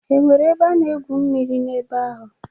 E nwere ebe a na-egwu mmiri na-ebe ahụ?